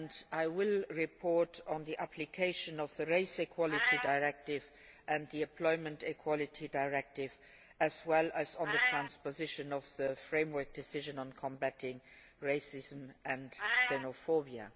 I will report on the application of the Race Equality Directive and the Employment Equality Directive, as well as on the transposition of the Framework Decision on combating racism and xenophobia.